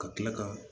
Ka kila ka